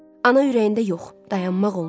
Ana ürəyində yox, dayanmaq olmaz.